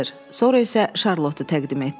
Sonra isə Şarlotu təqdim etdi.